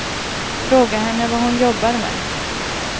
Fråga henne vad hon jobbar med.